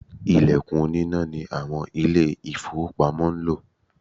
Ìlẹ̀kùn oníná ni àwọn Ilé-ìfowópamọ́ ń lò